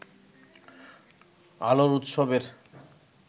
আলোর উৎসবের